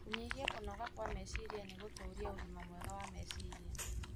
kũnyihia kũnoga kwa meciria na gũtũũria ũgima mwega wa meciria.